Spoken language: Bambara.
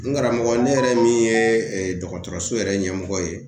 N karamɔgɔ ne yɛrɛ min ye ee dɔgɔtɔrɔso yɛrɛ ɲɛmɔgɔ ye